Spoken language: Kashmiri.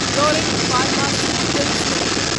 torrent pharmaceuticals limited